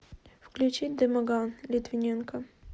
включи дымоган литвиненка